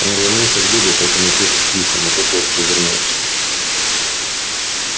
он рванулся к добби протянув руку к письмам но тот ловко увернулся